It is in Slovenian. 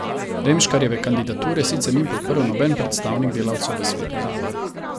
Remškarjeve kandidature sicer ni podprl noben predstavnik delavcev v svetu zavoda.